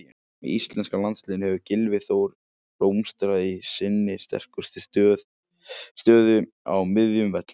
Með íslenska landsliðinu hefur Gylfi Þór blómstrað í sinni sterkustu stöðu á miðjum vellinum.